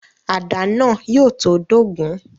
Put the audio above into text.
Àdá náà yóò tó dógun